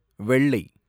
வெள்ளை